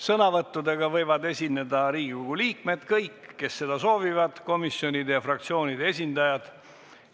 Sõnavõttudega võivad esineda kõik Riigikogu liikmed, kes seda soovivad, ning komisjonide ja fraktsioonide esindajad.